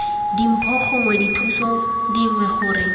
dimpho gongwe dithuso dingwe gore